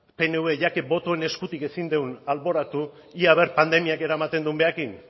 pnv ya que botoen eskutik ezin dugun alboratu ea a ver pandemiak eramaten duen berarekin